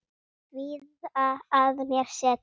Kvíða að mér setur.